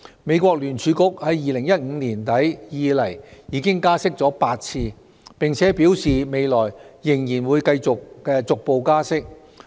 美國聯邦儲備局自2015年年底以來已經加息8次，並表示未來仍會逐步加息。